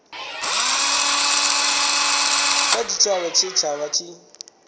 kha tshitshavha tshe vha tshi